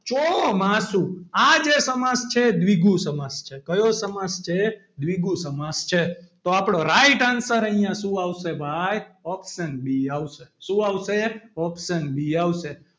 ચોમાસુ આ જે સમાસ છે એ દ્વિગુ સમાસ છે કયો સમાસ છે દ્વિગુ સમાસ છે તો આપણો right answer અહીંયા શું આવશે ભાઈ option B આવશે શું આવશે option B આવશે.